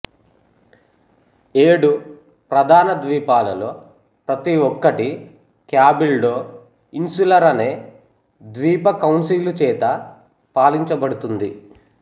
ఏడు ప్రధాన ద్వీపాలలో ప్రతి ఒక్కటి క్యాబిల్డో ఇన్సులరు అనే ద్వీప కౌన్సిలు చేత పాలించబడుతుంది